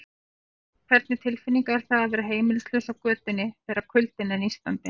En hvernig tilfinning er það að vera heimilislaus á götunni, þegar kuldinn er nístandi?